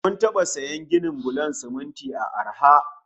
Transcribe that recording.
Mun taba sayan gidan bulon siminti a arha